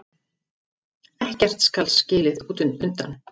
Ekkert skal skilið undan.